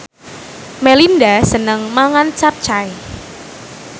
Melinda seneng mangan capcay